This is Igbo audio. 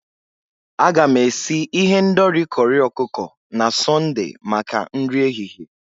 Aga m esi ihendori corri ọkụkọ na Sọnde maka nri ehihie.